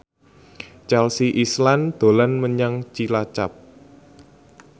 Chelsea Islan dolan menyang Cilacap